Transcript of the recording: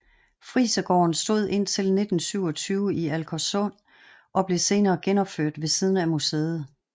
Frisergården stod indtil 1927 i Alkersum og blev senere genopført ved siden af museet